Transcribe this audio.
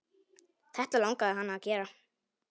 Þetta langaði hana að gera.